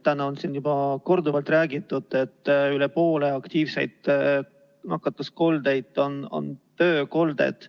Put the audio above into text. Täna on siin juba korduvalt räägitud, et rohkem kui pooled aktiivsed nakkuskolded on töökolded.